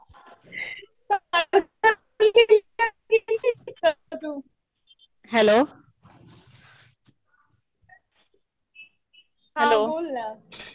हा बोल ना.